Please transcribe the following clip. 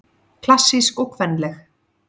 Klassísk og kvenleg